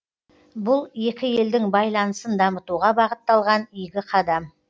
бұл екі елдің байланысын дамытуға бағытталған игі қадам